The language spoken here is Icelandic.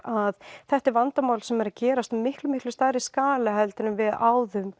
að þetta er vandamál sem hefur verið að gerast á miklu miklu stærri skala heldur en við áður